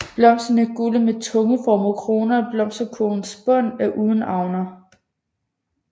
Blomsterne er gule med tungeformede kroner og blomsterkurvens bund er uden avner